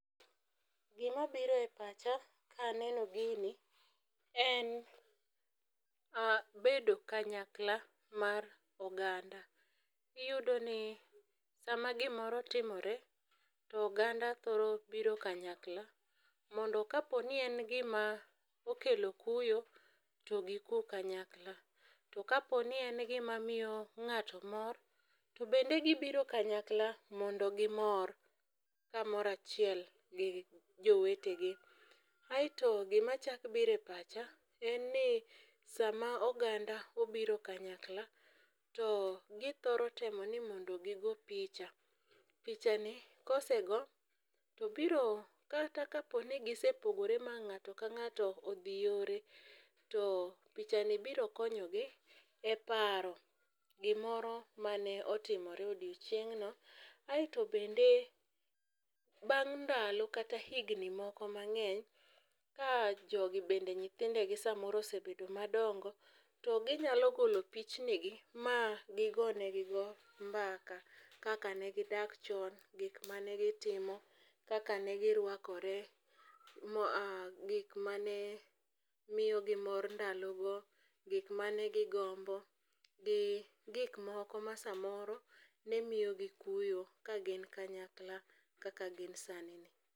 Gima biro e pacha, ka aneno gini, en bedo kanyakla mar oganda. Iyudo ni, sama gimoro timore, to oganda thoro biro kanyakla, mondo ka poni en gima okelo kuyo to gikuu kanyakla, to ka poni en gima miyo ng'ato mor, to bende gibiro kanyakla mondo gimor kamoro achiel gi jowetegi. Aito gima chak biro e pacha, en ni sama oganda obiro kanyakala, to githoro temo ni mondo gigo picha. To pichani, kosego, to biro kata ka poni gisepogore ma ng'ato ka ng'ato odhi yore, to pichani biro konyogi e paro gimoro mane otimore odiochieng'no. Aito bende , bang' ndalo kata higni moko mang'eny, ka jogi bende nyithindegi samoro osebedo madongo, to ginya golo pichnigi ma gigonegigo mbaka kaka ne gidak chon, gik mane gitimo, kaka ne girwakore, gik mane miyogi mor ndalogo, gik mane gigombo, gi gik moko ma samoro ne miyogi kuyo ka gin kanyakla kaka gin sanini.